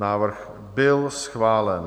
Návrh byl schválen.